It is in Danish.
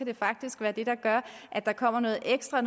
det faktisk være det der gør at der kommer noget ekstra